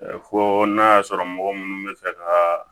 Fo n'a y'a sɔrɔ mɔgɔ munnu bɛ fɛ ka